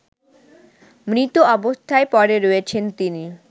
মৃত অবস্থায় পরে রয়েছেন তিনি